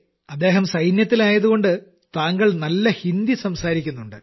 അദ്ദേഹം സൈന്യത്തിലായതുകൊണ്ട് താങ്കൾ നല്ല ഹിന്ദി സംസാരിക്കുന്നുണ്ട്